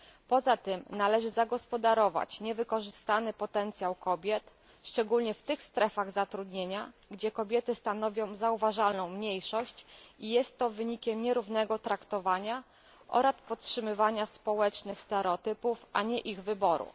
Poza tym należy zagospodarować niewykorzystany potencjał kobiet, szczególnie w tych strefach zatrudniania, gdzie kobiety stanowią zauważalną mniejszość i jest to wynikiem nierównego traktowania oraz podtrzymywania społecznych stereotypów a nie ich wyboru.